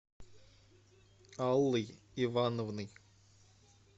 аллой ивановной